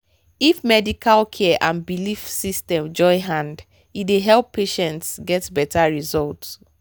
if medical care and belief system join hand e dey help patients get better result.